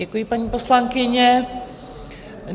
Děkuji, paní poslankyně.